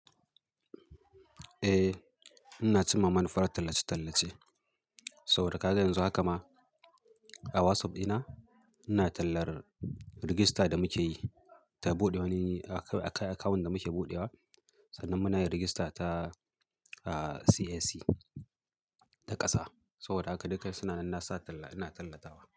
Eh, ina cimma manufar tallace-tallace. Saboda haka yanzu haka ma a WhatsApp dina ina tallar rigista da muke yi ta buɗe wani akawun da muke buɗewa. Sannan muna yin rigista ta CAC ta ƙasa. Saboda haka dukka suna ina tallatawa.